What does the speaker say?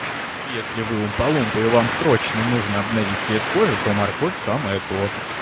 ну если вы умпа-лумпы и вам срочно нужно обновить цвет кожи то морковь самое то